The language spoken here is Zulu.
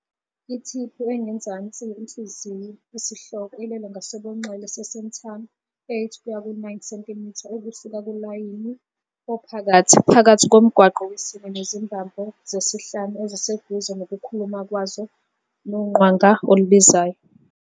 Ithiphu engezansi yenhliziyo, isihloko, ilele ngakwesobunxele se-sternum, 8 kuya ku-9 cm ukusuka kulayini ophakathi, phakathi komgwaqo wesine nezimbambo zesihlanu eziseduze nokukhuluma kwazo noqwanga olubizayo.